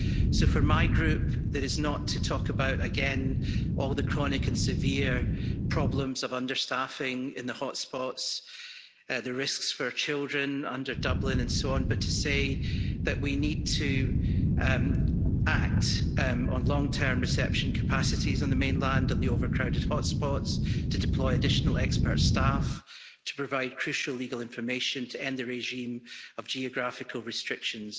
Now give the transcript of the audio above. So, for my group, that is not to talk again about all the chronic and severe problems of under-staffing in the hotspots the risks for children under Dublin, and so on but to say that we need to act on long-term reception capacities on the mainland in the overcrowded hotspots, to deploy additional expert staff, and to provide crucial legal information to end the regime of geographical restrictions.